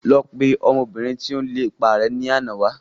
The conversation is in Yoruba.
Lọ pe ọmọ obìnrin tí ó ń lépa rẹ ni àná wá